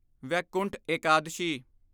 Vaikuntha Ekadashi